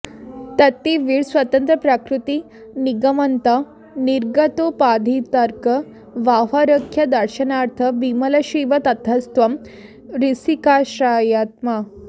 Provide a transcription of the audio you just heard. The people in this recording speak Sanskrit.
तत्ते वीर स्वतन्त्रप्रकृतिनिगमनं निर्गतोपाधितर्कं बाह्याख्यादर्शनार्थं विमलशिव ततस्त्वं हृषीकाश्रयात्मा